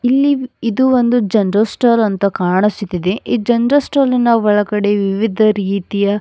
ಇಲ್ಲಿ ಇದು ಒಂದು ಜನರಲ್ ಸ್ಟೋರ್ ಅಂತ ಕಾಣಿಸುತ್ತಿದೆ ಈ ಜನರಲ್ ಸ್ಟೋರ್ ನ ಒಳಗಡೆ ವಿವಿಧ ರೀತಿಯ --